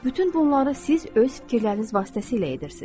Bütün bunları siz öz fikirləriniz vasitəsilə edirsiz.